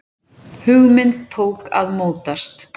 Hugmynd tók að mótast.